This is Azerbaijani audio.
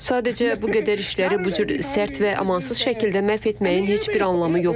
Sadəcə bu qədər işləri bu cür sərt və amansız şəkildə məhv etməyin heç bir anlamı yoxdur.